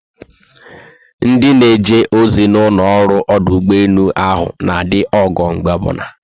Ndị na eje ozi na ụlọ ọrụ ọdụ ụgbọelu ahụ na adị ogo mgbe obula